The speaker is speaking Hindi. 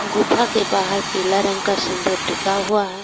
गुफा के बाहर पीला रंग का सिंदूर टिका हुआ है।